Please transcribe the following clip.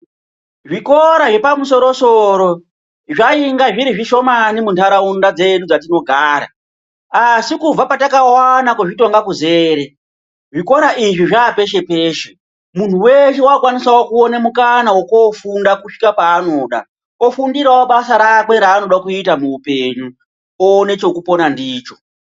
Zvikora zvepamusoro soro zvainga zviri zvishomani munharaunda dzedu dzatinogara asi kubva patakawana kuzvitonga kuzere zvikora izvi zvaapeshge peshe muntu weshe wakukwanisa kuonawo mukana wekufunda kusvika paanoda ofundirawo basa rake raanoda kuita muupenyu owone chekupona ndicho.